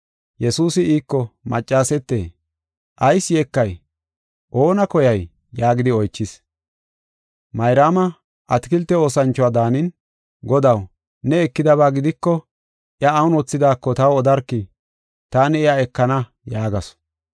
Yesuusi iiko, “Maccasete, ayis yeekay? Oona koyay?” yaagidi oychis. Mayraama atakilte oosanchuwa daanin, “Godaw, ne ekidaba gidiko, iya awun wothidaako taw odarkii. Taani iya ekana” yaagasu.